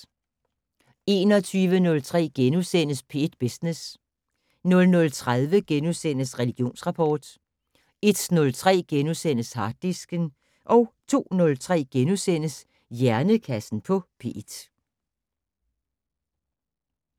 21:03: P1 Business * 00:30: Religionsrapport * 01:03: Harddisken * 02:03: Hjernekassen på P1 *